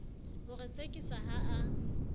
ho re tsekiso ha a